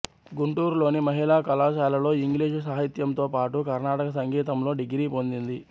గుంటూరులోని మహిళా కళాశాలలో ఇంగ్లీషు సాహిత్యంతో పాటు కర్ణాటక సంగీతంలో డిగ్రీ పొందింది